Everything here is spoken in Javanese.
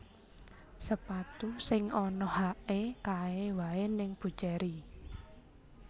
Sepatu sing ana hake kae wae ning Buccheri